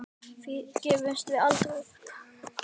Því gefumst við aldrei upp.